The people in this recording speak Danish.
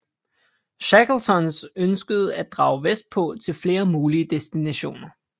Shackletons ønskede at drage vestpå til flere mulige destinationer